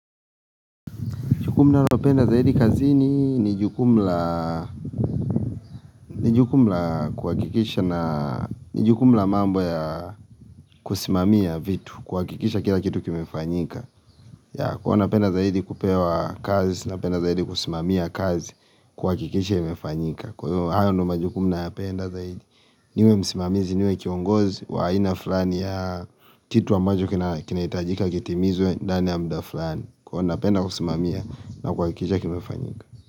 Jukumu nalopenda zaidi kazini ni jukumu la ni jukumu la kuhakikisha na ni jukumu la mambo ya kusimamia vitu, kuhakikisha kila kitu kimefanyika. Ya huwa napenda zaidi kupewa kazi, napenda zaidi kusimamia kazi kuhakikisha imefanyika. Kwa hiyo, hayo naypenda zaidi. Niwe msimamizi, niwe kiongozi, wa aina fulani ya kitu ambacho kinahitajika kitimizwe, ndani ya muda fulani. Huwa napenda kusimamia na kuhakikisha kimefanyika.